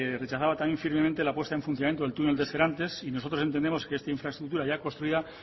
rechazaba firmemente la puesta en funcionamiento del túnel de serantes y nosotros entendemos que esta infraestructura ya construida